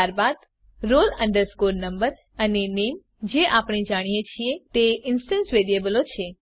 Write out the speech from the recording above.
ત્યારબાદ માત્ર roll number અને નામે જે આપણે જાણીએ છીએ તે ઇન્સ્ટંસ વેરીએબલો છે